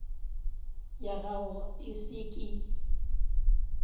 ya gago e se ke